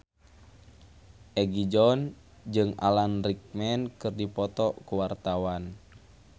Egi John jeung Alan Rickman keur dipoto ku wartawan